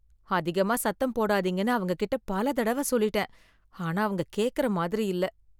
அதிகமா சத்தம் போடாதீங்கனு அவங்ககிட்ட பல தடவ சொல்லிட்டேன், ஆனா அவங்க கேக்கற மாதிரி இல்ல.